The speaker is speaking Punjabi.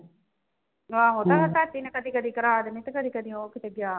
ਆਹੋ ਕਹਿੰਦਾ ਚਾਚੀ ਨਾਲ ਕਦੀ ਕਦੀ ਕਰਾ ਦਿੰਦਾ ਤੇ ਕਦੀ ਕਦੀ ਉਹ ਕਿਤੇ ਗਿਆ ਹੁੰਦਾ।